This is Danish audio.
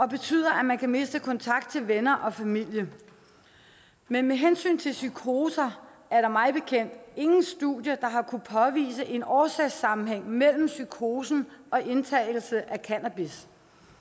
betyder at man kan miste kontakt til venner og familie men med hensyn til psykoser er der mig bekendt ingen studier der har kunnet påvise en årsagssammenhæng mellem psykosen og indtagelse af cannabis